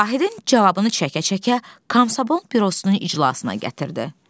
Vahidin cavabını çəkə-çəkə Komsomol Bürosunun iclasına gətirdi.